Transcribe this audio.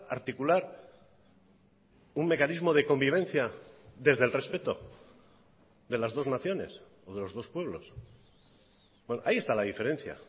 articular un mecanismo de convivencia desde el respeto de las dos naciones o de los dos pueblos ahí está la diferencia